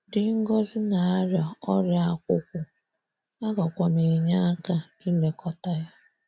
Dị ngọzi na -arịa ọrịa ákwụ̀kwụ̀, agakwam enye aka ịlekọta ya.